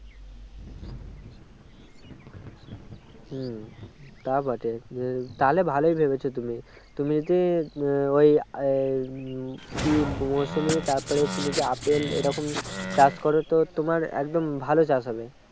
হম তা বটে তাহলে ভালোই ভেবেছো তুমি তুমি যদি আহ ওই আহ উম কি মোসম্বি তারপরে তুমি যদি আপেল এইরকম চাষ করো তো তোমার একদম ভালো চাষ হবে